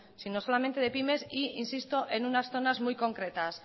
sino solamente de pymes e insisto en unas zonas muy concretas